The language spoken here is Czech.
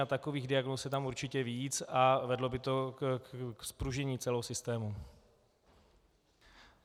A takových diagnóz je tam určitě víc a vedlo by to k zpružnění celého systému.